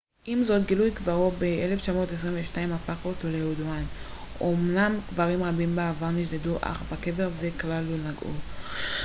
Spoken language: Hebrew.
עם זאת גילוי קברו ב-1922 הפך אותו לידוען אומנם קברים רבים מהעבר נשדדו אך בקבר זה כלל לא נגעו